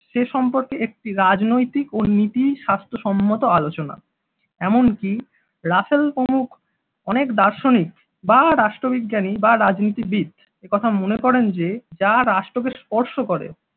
সে সম্পর্কে একটি রাজনৈতিক ও নীতি স্বাস্থ্যসম্মত আলোচনা। এমনকি রাসেল প্রমুখ অনেক দার্শনিক বা রাষ্ট্রবিজ্ঞানী বা রাজনীতিবিদ একথা মনে করেন যে যা রাষ্ট্রকে স্পর্শ করে